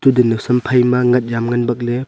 aga nowsam phai ngat jam ngan bakley.